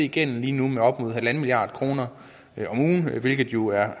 gælden lige nu med op mod en milliard kroner om ugen hvilket jo er